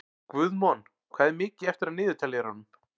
Guðmon, hvað er mikið eftir af niðurteljaranum?